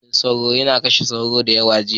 maganin sauro ya kashe sauro dayawa jiya